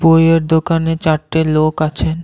বইয়ের দোকানে চারটে লোক আছেন।